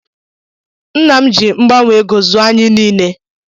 Ńnà m jị mgbanwe égo zụọ anyị nile.